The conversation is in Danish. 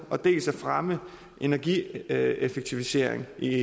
dels at fremme energieffektivisering i